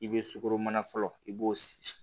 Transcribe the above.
I bɛ sukoroma fɔlɔ i b'o si